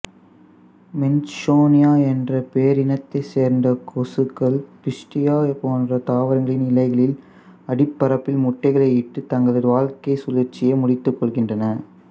மேன்சோனியாஎன்ற பேரினத்தைச் சேர்ந்த கொசுக்கள்பிஸ்டியா போன்ற தாவரங்களின் இலைகளின் அடிப்பரப்பில் முட்டைகளை இட்டு தங்கள் வாழ்க்கைச் சுழற்சியை முடித்துக்கொள்கின்றன